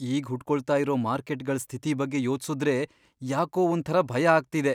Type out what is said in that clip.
ಈಗ್ ಹುಟ್ಕೊಳ್ತಾ ಇರೋ ಮಾರ್ಕೆಟ್ಗಳ್ ಸ್ಥಿತಿ ಬಗ್ಗೆ ಯೋಚ್ಸುದ್ರೆ ಯಾಕೋ ಒಂಥರ ಭಯ ಆಗ್ತಿದೆ.